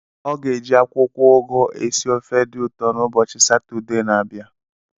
Ọ ga-eji akwụkwọ ugu esi ofe dị ụtọ n'ụbọchị Satọde na-abịa.